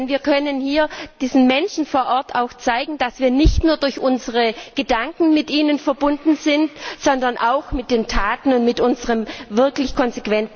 Denn wir können hier diesen Menschen vor Ort auch zeigen, dass wir nicht nur durch unsere Gedanken mit ihnen verbunden sind, sondern auch mit den Taten und mit unserem wirklich konsequenten Handeln.